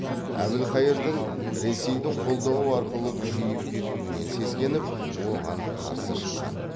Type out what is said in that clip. әбілқайырдың ресейдің қолдауы арқылы күшейіп кетуінен сескеніп оған қарсы шыққан